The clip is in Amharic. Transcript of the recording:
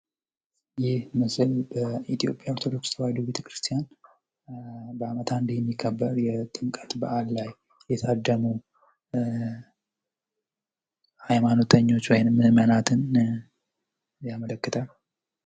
ይህ ምስሉ የኢትዮጵያ ኦርቶዶክስ ተዋህዶ ቤተ-ክርስቲያን በአመት አንዴ የሚከበር የጥምቀት በአል ላይ የታደሙ ህይማኖተኞች ወይም ምእመናትን ያመለክታል።